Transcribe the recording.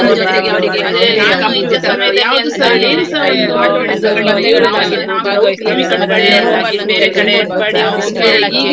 ಆ ಮತ್ತೆ ಆ ನಾನು ಅಂದ್ರೆ ಆಟೋಟ ಸ~ ಸ್ಪರ್ಧೆಗಳಲ್ಲಿ ನಾನು ಭಾಗವಹಿಸುತ್ತಿದ್ದೇನೆ ಅಂದ್ರೆ ನಂಗೆ Throw Ball ಅಂತ್ಹೇಳಿದ್ರೆ ತುಂಬಾ ಇಷ್ಟ ನಂಗೆ.